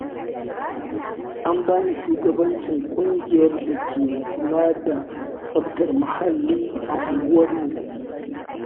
An bani shugabancin ƙungiyar da ke kula da tsaftar muhalli a unguwarmu.